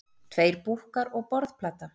Tveir búkkar og borðplata.